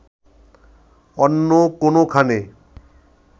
অন্য কোনোখানে